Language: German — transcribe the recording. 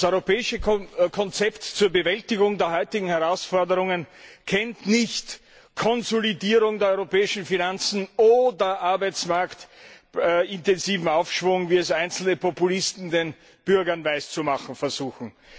Das europäische Konzept zur Bewältigung der heutigen Herausforderungen kennt nicht Konsolidierung der europäischen Finanzen oder arbeitsmarktintensiven Aufschwung, wie es einzelne Populisten den Bürgern weiszumachen versuchen.